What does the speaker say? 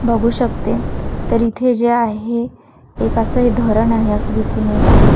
बघू शकते तर इथे जे आहे एक असं हे धरण आहे असं दिसून येत आहे.